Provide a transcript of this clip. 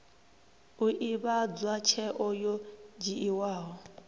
u ivhadzwa tsheo yo dzhiiwaho